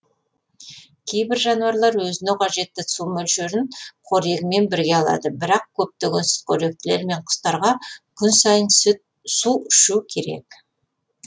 кейбір жануарлар өзіне қажетті су мөлшерін қорегімен бірге алады бірақ көптеген сүтқоректілер мен құстарға күн сайын су ішу керек